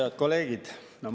Head kolleegid!